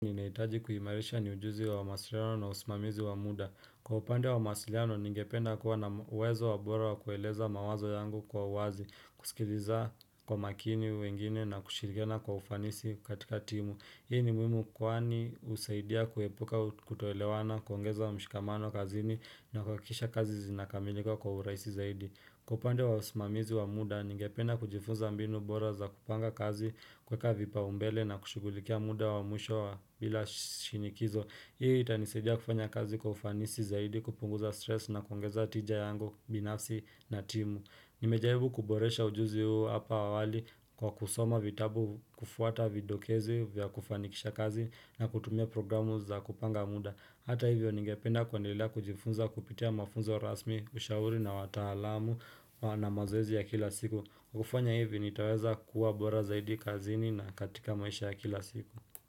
Ninahitaji kuhimarisha ni ujuzi wa masiliano na usmamizi wa muda. Kwa upande wa masiliano, ningependa kuwa na uwezo wa bora wa kueleza mawazo yangu kwa wazi, kusikiliza kwa makini wengine na kushirigena kwa ufanisi katika timu. Hii ni muhimu kwaani usaidia kuepuka kutoelewana, kuongeza wa mshikamano kazi ni na kakisha kazi zinakamilika kwa uraisi zaidi. Kupande wa sumamizi wa muda, ninge pena kujifunza mbinu bora za kupanga kazi kweka vipa umbele na kushugulikia muda wa mwisho bila shinikizo. Hii itanisejia kufanya kazi kufanisi zaidi kupunguza stress na kwangeza tija yango binafsi na timu. Nimejaibu kuboresha ujuzi huu hapa awali kwa kusoma vitabu kufuata videokezi vya kufanikisha kazi na kutumia programu za kupanga muda. Hata hivyo ningependa kwa nilila kujifunza kupitia mafunza rasmi ushauri na watahalamu na mazoezi ya kila siku kufanya hivyo nitaweza kuwa bora zaidi kazini na katika maisha ya kila siku.